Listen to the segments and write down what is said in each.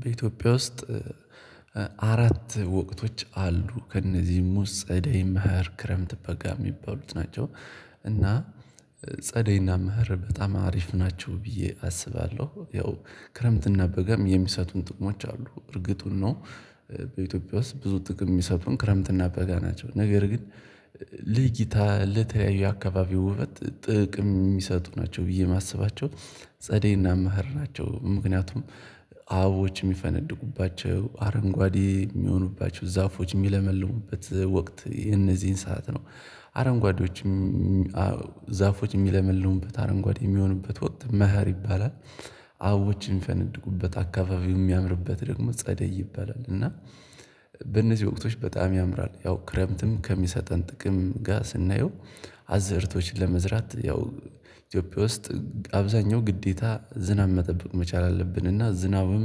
በኢትዮጵያ ውስጥ አራት ወቅቶች አሉ። ከእነዚህም ውስጥ ጸደይ፣ መሀር፣ ክረምት፣ በጋ የሚባሉት ናቸው። እና ጸደይና ምህር በጣም አሪፍ ናቸው ብዬ አስባለሁ። ያው ክረምትና በጋም የሚሰጡን ጥቅሞች አሉ። እርግጡን ነው በኢትዮጵያ ውስጥ ብዙ ጥቅም የሚሰጡን ክረምትና በጋ ናቸው። ነገር ግን ለእይታ ለተለያዩ አካባቢው ውበት ጥቅም የሚሰጡ ናቸው ብዬ የማስባቸው ጸደይ እና መህር ናቸው ምክንያቱም አበቦች የሚፈነድቁባቸው አረንጓዴ የሚሆኑባቸው ዛፎች የሚለመልሉበት ወቅት የነዚህን ሰዓት ነው። አረንጓዶችም ዛፎች የሚለምልሉበት አረንጓድ የሚሆኑበት ወቅት መህር ይባላል አበባዎች የሚፈነድቁበት አካባቢው የሚያምርበት ደግሞ ጸደይ ይባላል እና በእነዚህ ወቅቶች በጣም ያምራል። ያው ክረምትም ከሚሰጠን ጥቅም ጋር ስናየው አዘርቶችን ለመዝራት ያው ኢትዮጵያ ውስጥ አብዛኛው ግዴታ ዝናብ መጠበቅ መቻል አለብን እና ዝናብም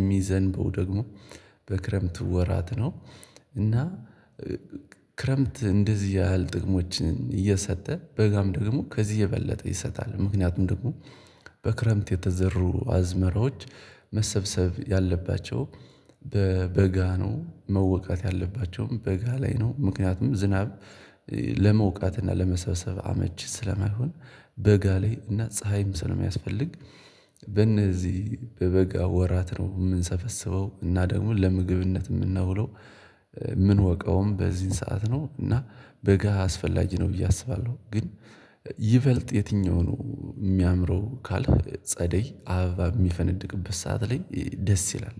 የሚዘንበው ደግሞ በክረምት ወራት ነው። እና ክረምት እንደዚህ ያህል ጥቅሞችን እየሰጠ በጋም ደግሞ ከዚህ የበለጠ ይሰጣል። ምክንያቱም ደግሞ በክረምት የተዘሩ አዝመራዎች መሰብሰብ ያለባቸው በበጋ ነው። መወቃት ያለባቸውም በጋ ላይ ነው። ምክንያቱም ዝናብ ለመውቃትና ለመሰብሰብ አመቺ ስለማይሆን በጋ ላይ እና ፀሀይም ስለሚያስፈልግ በእነዚህ በበጋ ወራት ነው የምንሰበስበው። እና ደግሞ ለምግብነት የምናውለው፤ የምንወቀውም በዚህን ሰዓት ነው እና በጋ አስፈላጊ ነው ብዬ አስባለሁ። ግን ይበልጥ የትኛውን የሚያምረው ካልክ ጸደይ አበባ የሚፈነድቅበት ሰዓት ላይ ደስ ይላል።